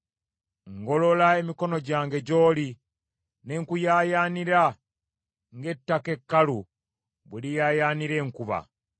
Ngolola emikono gyange gy’oli, ne nkuyaayaanira ng’ettaka ekkalu bwe liyaayaanira enkuba.